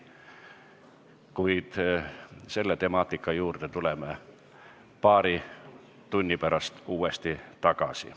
Kuid selle temaatika juurde tuleme paari tunni pärast uuesti tagasi.